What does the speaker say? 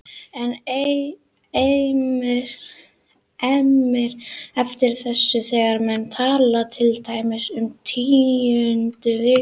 Enn eimir eftir af þessu þegar menn tala til dæmis um tíundu viku sumars